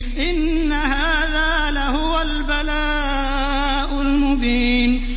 إِنَّ هَٰذَا لَهُوَ الْبَلَاءُ الْمُبِينُ